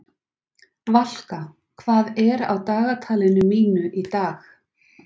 Valka, hvað er á dagatalinu mínu í dag?